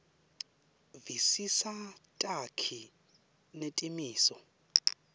visisa takhi netimiso